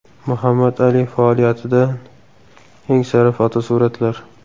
Muhammad Ali faoliyatidan eng sara fotosuratlar.